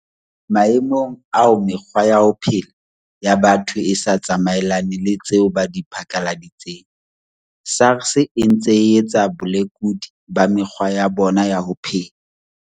Maemong ao mekgwa ya ho phela ya batho e sa tsamaelane le tseo ba di phatlaladitseng, SARS e ntse e etsa bolekudi ba mekgwa ya bona ya ho phela.